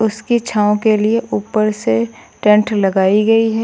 उसकी छांव के लिए ऊपर से टेंट लगाई गई है।